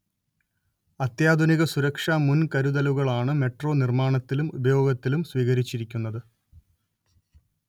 അത്യാധുനിക സുരക്ഷാ മുൻകരുതലുകളാണ് മെട്രോ നിർമ്മാണത്തിലും ഉപയോഗത്തിലും സ്വീകരിച്ചിരിക്കുന്നത്